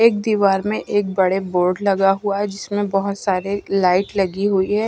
एक दीवार में एक बड़े बोर्ड लगा हुआ है जिसमें बहोत सारे लाइट लगी हुई है।